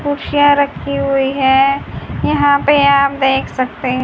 कुर्सियां रखी हुई हैं यहां पे आप देख सकते हैं।